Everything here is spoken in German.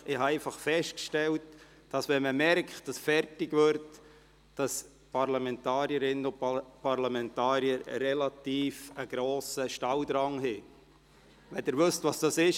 Ich habe aber festgestellt: Wenn man merkt, dass es auf das Ende zugeht, haben die Parlamentarierinnen und Parlamentarier einen relativ grossen Stalldrang – wenn Sie wissen, was das ist.